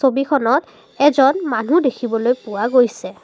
ছবিখনত এজন মানু্হ দেখিবলৈ পোৱা গৈছে।